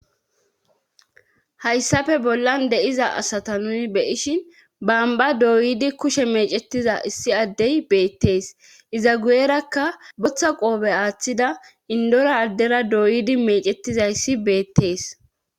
hayssafe bollan de7iza asata nuni beyishin bamba dooyidi kushe mecettiza issi addey beettees iza guyerakka botha qoobe aaththida indora addera dooyidi mecetizayssi beettees